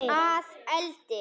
Að eldi?